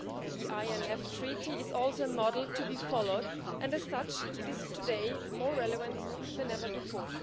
The INF Treaty is also a model to be followed and, as such, it is today more relevant than ever before.